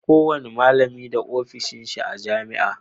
Ko wani malami da ofishin shi a jamia